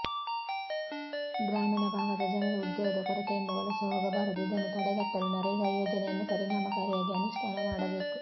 ಗ್ರಾಮೀಣ ಭಾಗದ ಜನರು ಉದ್ಯೋಗದ ಕೊರತೆಯಿಂದ ವಲಸೆ ಹೋಗಬಾರದು ಇದನ್ನು ತಡೆಗಟ್ಟಲು ನರೇಗಾ ಯೋಜನೆಯನ್ನು ಪರಿಣಾಮಕಾರಿಯಾಗಿ ಅನುಷ್ಠಾನ ಮಾಡಬೇಕು